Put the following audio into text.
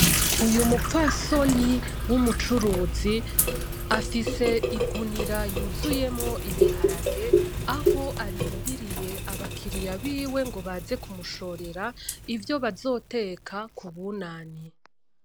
Uyu mupfasoni w'umucuruzi afise igunira ry'uzuyemwo ibiharage aho arindiriye abakiriya biwe ngo baze kumushorera ivyo bazoteka kubunane.